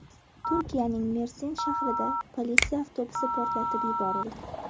Turkiyaning Mersin shahrida politsiya avtobusi portlatib yuborildi.